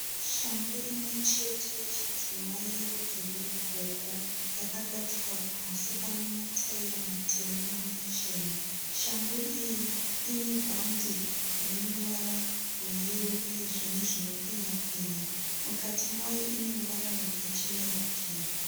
Shangu imwe chete yechidzimai yerudzi rwegogo yakagadzikwa pasi pane mataira matema namachena shangu iyi ine bhadhi rine ruvara rweyero uyezve nezvino penya penya mukati mayo ine ruvara rwakachenerukira.